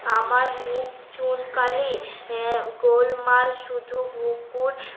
আমার মুখ চুনকালি আহ গোলমাল শুধু বুকুর